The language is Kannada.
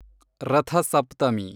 ರಥ ಸಪ್ತಮಿ